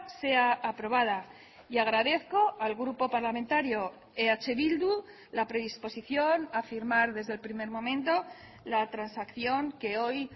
sea aprobada y agradezco al grupo parlamentario eh bildu la predisposición a firmar desde el primer momento la transacción que hoy